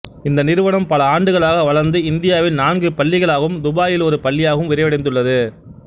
இந்த நிறுவனம் பல ஆண்டுகளாக வளர்ந்து இந்தியாவில் நான்கு பள்ளிகளாகவும் துபாயில் ஒரு பள்ளியாகவும் விரிவடைந்துள்ளது